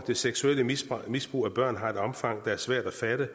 det seksuelle misbrug misbrug af børn som har et omfang der er svært at fatte